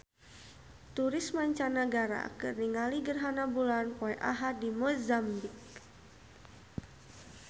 Turis mancanagara keur ningali gerhana bulan poe Ahad di Mozambik